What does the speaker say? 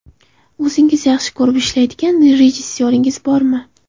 O‘zingiz yaxshi ko‘rib ishlaydigan rejissyoringiz bormi?